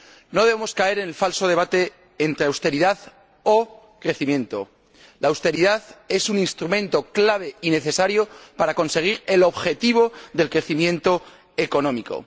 No debemos caer en el falso debate entre austeridad o crecimiento la austeridad es un instrumento clave y necesario para conseguir el objetivo del crecimiento económico.